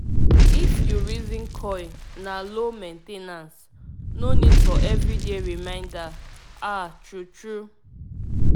if you reason coil na low main ten ance - no need for every day reminder ah true true